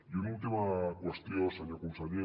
i una última qüestió senyor conseller